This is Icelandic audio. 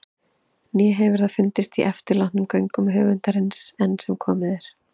Né hefur það fundist í eftirlátnum gögnum höfundarins- enn sem komið er.